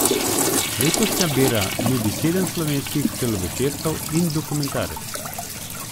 Letošnja bera nudi sedem slovenskih celovečercev in dokumentarec.